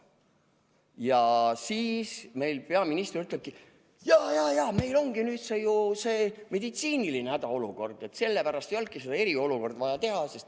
Ja siis meil peaminister ütlebki, et jaa-jaa, meil on nüüd meditsiiniline hädaolukord ja sellepärast ei olnudki eriolukorda vaja teha.